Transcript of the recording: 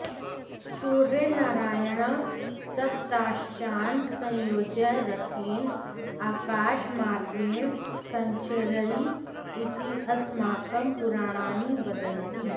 सूर्यनारायणः सप्ताश्चान् संयोज्य रथेन आकाशमार्गेण सञ्चररि इति अस्माकं पुराणानि वदन्ति